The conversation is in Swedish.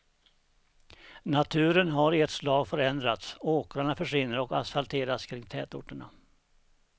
Naturen har i ett slag förändrats, åkrarna försvinner och asfalteras kring tätorterna.